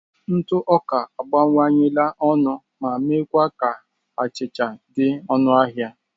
Ntụ ọka abawanyela ọnụ ma meekwa ka achịcha achịcha dị ọnụ ahịa.